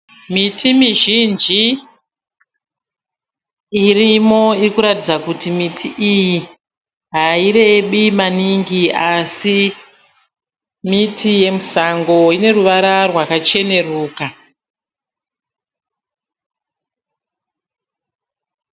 Miti mizhinji irimo irikuratidza kuti miti iyi hairebi maningi asi miti yemusango. Ineruvara rwakacheneruka.